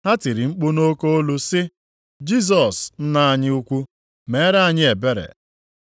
Ha tiri mkpu nʼoke olu sị, “Jisọs nna anyị ukwuu, mere anyị ebere.”